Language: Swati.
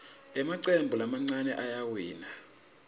emacembu lamancane ayawina